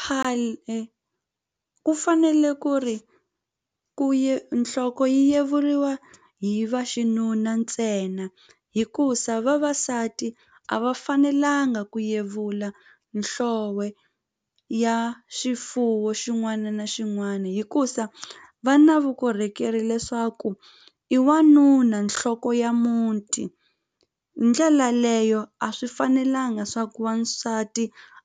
Khale ku fanele ku ri ku nhloko yi yeriwa hi vaxinuna ntsena hikusa vavasati a va fanelanga ku yevula ya xifuwo xin'wana na xin'wana hikusa va na vukorhokeri leswaku i wanuna nhloko ya muti hi ndlela leyo a swi fanelanga swa ku wansati